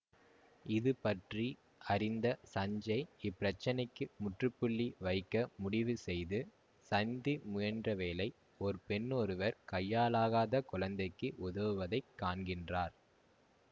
இது பற்றி அறிந்த சஞ்சேய் இப்பிரச்சினைக்கு முற்றுப்புள்ளி வைக்க முடிவுசெய்து சந்திமுயன்றவேளை ஓர் பெண்ணொருவர் கையாலாகாத குழந்தைக்கு உதவுவதைக் காண்கின்றார்